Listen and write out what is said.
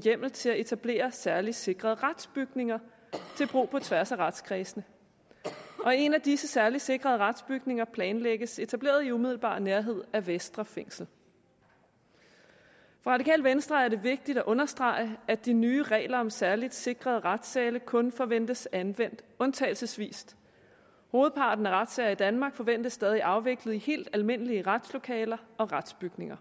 hjemmel til at etablere særligt sikrede retsbygninger til brug på tværs af retskredsene en af disse særligt sikrede retsbygninger planlægges etableret i umiddelbar nærhed af vestre fængsel for radikale venstre er det vigtigt at understrege at de nye regler om særligt sikrede retssale kun forventes anvendt undtagelsesvis hovedparten af retssager i danmark forventes stadig afviklet i helt almindelige retslokaler og retsbygninger